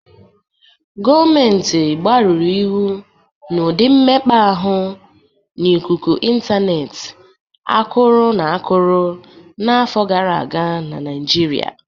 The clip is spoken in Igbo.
Gọmentị gbarụrụ ịhụ n'ụdị mmekpa ahụ n'ikuku ịntaneetị akụrọ n'akụkọ n'afọ gara aga na Naịjịrịa.